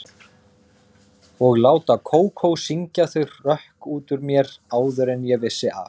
Og láta Kókó syngja þau hrökk út úr mér áður en ég vissi af.